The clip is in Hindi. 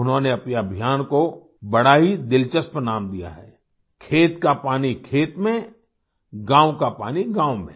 उन्होंने अपने अभियान को बड़ा ही दिलचस्प नाम दिया है खेत का पानी खेत में गाँव का पानी गाँव में